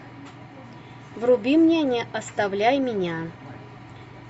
вруби мне не оставляй меня